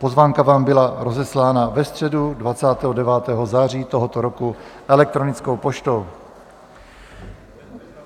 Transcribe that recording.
Pozvánka vám byla rozeslána ve středu 29. září tohoto roku elektronickou poštou.